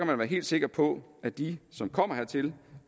man være helt sikker på at de som kommer hertil